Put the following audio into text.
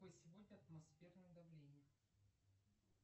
какое сегодня атмосферное давление